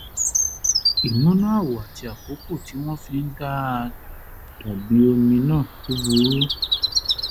ìmúná àwọ̀ àti àkókò tí wọ́n fi ń dà á dàbí omi náà ò ò burú